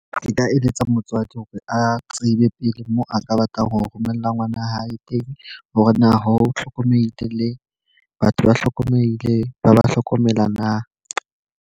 Nka eletsa motswadi hore a tsebe pele mo a ka batlang ho romella ngwana hae teng. Hore na ho hlokomelehile le batho ba hlokomelehile, ba ba hlokomela na.